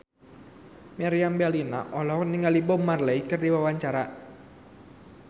Meriam Bellina olohok ningali Bob Marley keur diwawancara